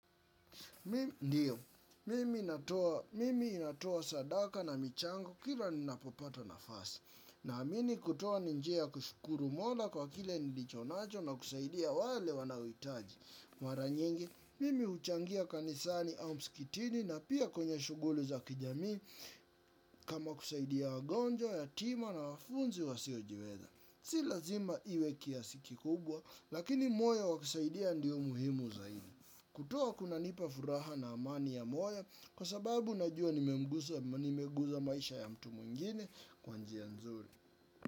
Ndiyo, mimi natoa sadaka na michango kila ninapopato nafasi. Na mmimi kutuwa ni njia kushukuru mola kwa kile nilichonacho na kusaidia wale wana uitaji. Mara nyingi, mimi uchangia kanisani au msikitini na pia kwenye shuguli za kijami kama kusaidia wagonjwa, yatima na wafunzi wasiojiweza. Si lazima iwe kiasi kikubwa, lakini moyo wa kusaidia ndio muhimu zaidi. Kutoa kunanipa furaha na amani ya moyo kwa sababu najua nimeguza maisha ya mtu mwingine kwa njia nzuri.